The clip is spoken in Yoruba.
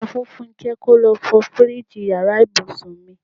Sọ fún Fúnké kò lọ fọ fíríìjiì ìyára ibùsùn mi.